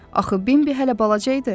Axı Bimbi hələ balaca idi.